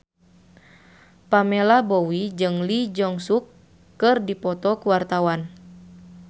Pamela Bowie jeung Lee Jeong Suk keur dipoto ku wartawan